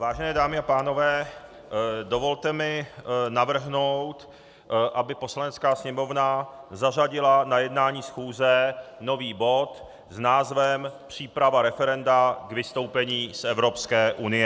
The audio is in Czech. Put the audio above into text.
Vážené dámy a pánové, dovolte mi navrhnout, aby Poslanecká sněmovna zařadila na jednání schůze nový bod s názvem Příprava referenda k vystoupení z Evropské unie.